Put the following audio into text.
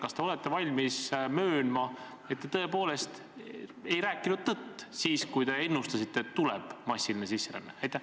Kas te olete valmis möönma, et te tõepoolest ei rääkinud tõtt, kui ennustasite, et tuleb massiline sisseränne?